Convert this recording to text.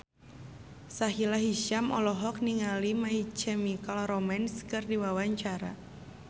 Sahila Hisyam olohok ningali My Chemical Romance keur diwawancara